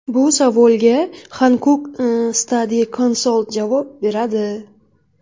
Bu savolga Hankuk Study Consalt javob beradi!.